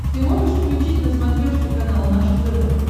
ты можешь включить на смотрешке канал наше тв